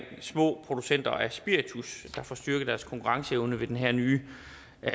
små producenter af spiritus der får styrket deres konkurrenceevne ved den her nye